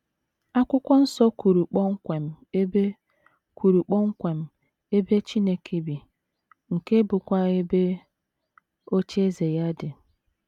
Akwụkwọ Nsọ kwuru kpọmkwem ebe kwuru kpọmkwem ebe Chineke bi, nke bụ́kwa ebe “ ocheeze ” ya dị.